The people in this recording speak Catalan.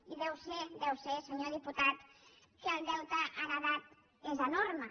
i deu ser senyor diputat que el deute heretat és enorme